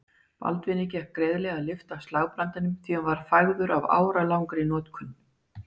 Baldvini gekk greiðlega að lyfta upp slagbrandinum því hann var fægður af áralangri notkun.